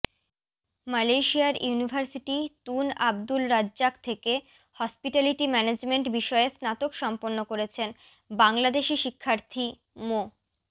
মালয়েশিয়ার university Tun Abdul Razak থেকে hospitality management বিষয়ে স্নাতক সম্পন্ন করেছেন বাংলাদেশি শিক্ষার্থী মো